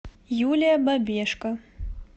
юлия бабешко